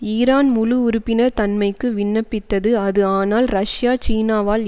Iran முழு உறுப்பினர் தன்மைக்கு விண்ணப்பித்தது அது ஆனால் ரஷ்யா சீனாவால்